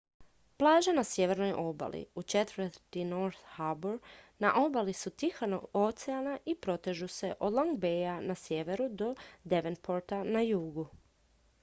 plaže na sjevernoj obali u četvrti north harbour na obali su tihog oceana i protežu se od long baya na sjeveru do devonporta na jugu